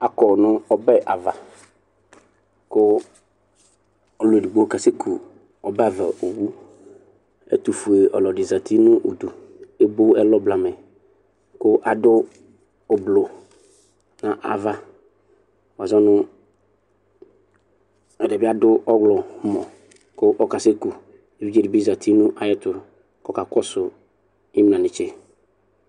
Akɔ nʋ ɔbɛ avaKʋ ɔlu edigbo kasɛ ku ɔbava owuƐtufue ɔlɔdi zati nʋ udu, ebo ɛlɔ blamɛ, kʋ adʋ ublu nʋ avaWazɔnu ɛdibi adʋ ɔɣlɔmɔ kʋ ɔkasɛkuEvidze dibi zati nʋ ayɛtu kɔkakɔsʋ imlanetse